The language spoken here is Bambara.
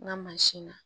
N ka mansin na